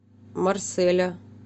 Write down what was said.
марселя